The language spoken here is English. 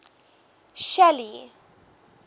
shelly